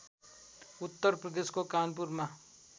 उत्तर प्रदेशको कानपुरमा